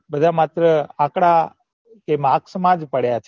બધા માત્ર આકડા કે marks મા પડ્યા હે